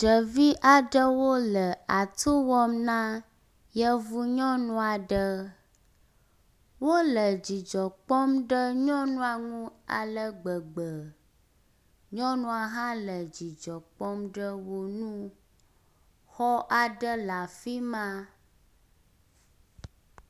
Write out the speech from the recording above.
Ɖevi aɖewo le atu wɔm na yevu nyɔnu aɖe. Wole dzidzɔ kpɔm ɖe nyɔnua ŋu ale gbegbe. Nyɔnua hã le dzidzɔ kpɔm ɖe wo ŋu. Xɔ aɖe le afi ma.